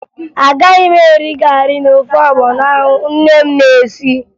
Agaghị m eri garị na ofe ọgbọnọ ahụ nne m na-esi